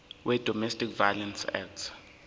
wedomestic violence act